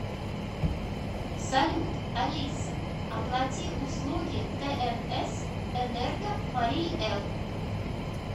салют алиса оплати услуги тнс энерго марий эл